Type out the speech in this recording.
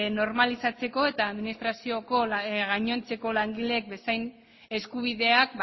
normalizatzeko eta administrazioko gainontzeko langileek bezain eskubideak